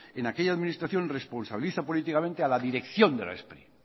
en aquella administración responsabiliza políticamente a la dirección de la spri